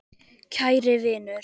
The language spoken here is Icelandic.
Kæri vinur.